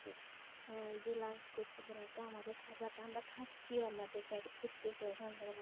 হুম এই যে lunch করতেছে না তো আমাদের খাবার আমরা খাচ্ছি আমরা তো পেট ভোরতেছি